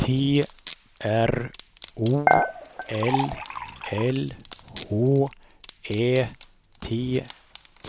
T R O L L H Ä T T